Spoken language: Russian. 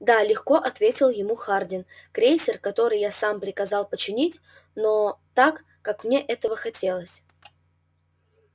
да легко ответил ему хардин крейсер который я сам приказал починить но так как мне этого хотелось